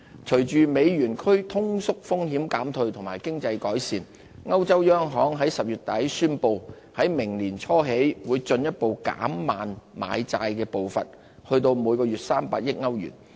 隨着歐元區通縮風險減退及經濟改善，歐洲央行在10月底宣布在明年年初起會進一步減慢買債步伐至每月300億歐元。